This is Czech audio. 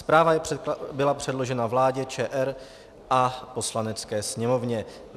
Zpráva byla předložena vládě ČR a Poslanecké sněmovně.